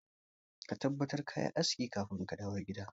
Ka tabbatar kayi aski kafin kadawo gida.